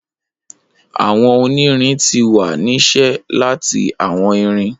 Awọn onirin ti wa ni ṣe lati awọn irin